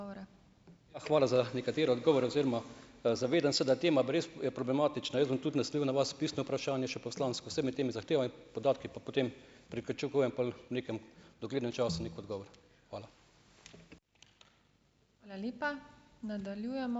Hvala za nekatere odgovore oziroma, zavedam se, da tema pa res je problematična. Jaz bom tudi naslovil na vas pisno vprašanje še poslansko, saj med temi podatki, pa potem pričakujem pol v nekem doglednem času neki odgovor. Hvala.